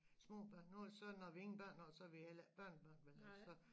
Små børn nu så når vi ingen børn har så har vi heller ikke børnebørn vel og så